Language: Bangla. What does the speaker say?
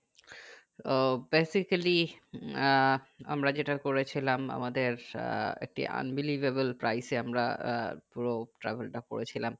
আহ basically আহ আমরা যেটা করে ছিলাম আমাদের আহ একটি unbelievable price এ আমরা আহ পুরো travel তা করে ছিলাম